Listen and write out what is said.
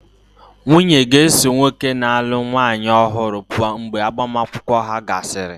Nwunye ga-eso nwoke na-alụ nwanyị ọhụrụ pụọ mgbe agbamakwụkwọ ahụ gasịrị.